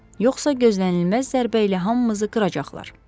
Yoxsa gözlənilməz zərbə ilə hamımızı qıracaqlar.